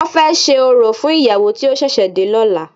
Wọ́n fẹ́ ṣe orò fún ìyàwó tí ó ṣẹ̀ṣẹ̀ dé lọ́la.